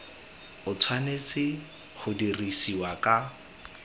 o tshwanetse go dirisiwa ka